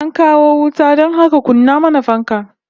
An kawo wuta don haka kunna mana fanka